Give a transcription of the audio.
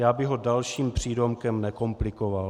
Já bych ho dalším přídomkem nekomplikoval.